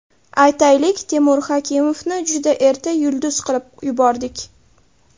Aytaylik, Temur Hakimovni juda erta yulduz qilib yubordik.